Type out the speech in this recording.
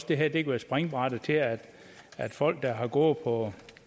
det her kan være springbrættet til at at folk der har gået på